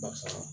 Barisa